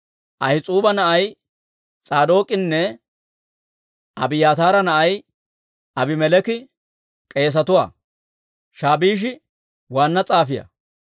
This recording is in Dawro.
Ahis'uuba na'ay S'aadook'inne Abiyaataara na'ay Abimeleeki k'eesetuwaa; Shaabisha waanna s'aafiyaa;